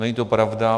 Není to pravda.